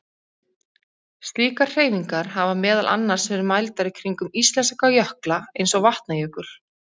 Slíkar hreyfingar hafa meðal annars verið mældar kringum íslenska jökla eins og Vatnajökul.